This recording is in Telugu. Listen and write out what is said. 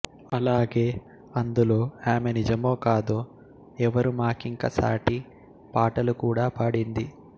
అలాగే అందులో ఆమె నిజమో కాదో ఎవరు మాకింక సాటి పాటలు కూడా పాడింది